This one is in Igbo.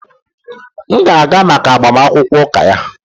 M ga-aga maka agbamakwụkwọ ụka ya